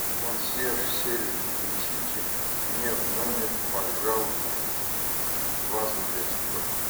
консьерж сервис принесите мне в номер пожалуйста вазу для цветов